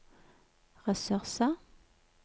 ressurser